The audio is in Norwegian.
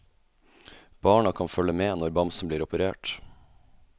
Barna kan følge med når bamsen blir operert.